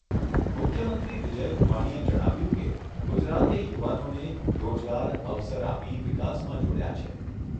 મુખ્યમંત્રી વિજય રૂપાણીએ જણાવ્યુંં કે ગુજરાતે યુવાનોને રોજગાર, અવસર આપી વિકાસમાં જોડ્યા છે.